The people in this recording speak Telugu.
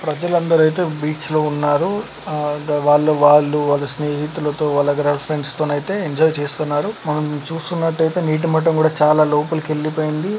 ప్రజలందరైతే బీచ్ లో ఉన్నారు. ఆ వాళ్ల వాళ్ళు వాళ్ళ స్నేహితులతో వాళ్ళ గర్ల్ ఫ్రండ్స్ తోనైతే ఎంజాయ్ చేస్తున్నారు. మనం చూస్తున్నట్టైతే నీటి మట్టం కూడా చాలా లోపలికి ఎళ్లిపోయింది.